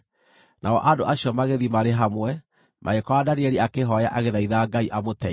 Nao andũ acio magĩthiĩ marĩ hamwe, magĩkora Danieli akĩhooya agĩthaitha Ngai amũteithie.